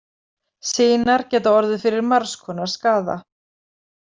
Sinar geta orðið fyrir margs konar skaða.